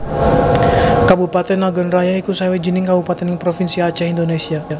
Kabupatèn Nagan Raya iku sawijining kabupatèn ing Provinsi Acèh Indonésia